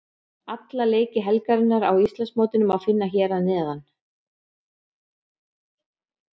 Alla leiki helgarinnar á Íslandsmótinu má finna hér að neðan.